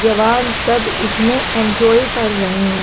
जवान सब इसमें एन्जॉय कर रहे हैं।